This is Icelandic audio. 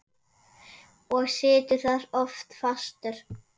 Og situr þar oft fastur.